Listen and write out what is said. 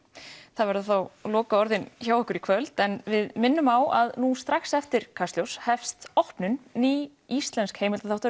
það verða þá lokaorðin hjá okkur í kvöld en við minnum á að nú strax eftir Kastljós hefst opnun ný íslensk